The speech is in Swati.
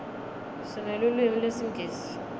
sinelulwimi lesingisi